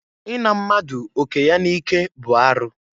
I na mmadụ oke ya n'ike bụ arụ.